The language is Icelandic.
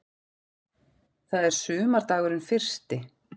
Það er sumardagurinn fyrsti.